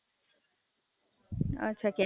અચ્છા, ક્યાંય ફરવા નહીં ગયો?